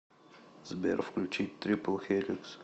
сбер включить трипл хеликс